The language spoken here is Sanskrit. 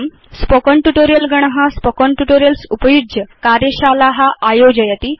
स्पोकेन ट्यूटोरियल् गण spoken ट्यूटोरियल्स् उपयुज्य कार्यशाला आयोजयति